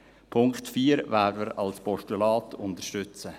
Den Punkt 4 werden wir als Postulat unterstützen.